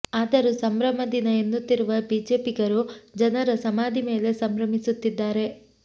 ಆದರೂ ಸಂಭ್ರಮ ದಿನ ಎನ್ನುತ್ತಿರುವ ಬಿಜೆಪಿಗರು ಜನರ ಸಮಾಧಿ ಮೇಲೆ ಸಂಭ್ರಮಿಸುತ್ತಿದ್ದಾರೆ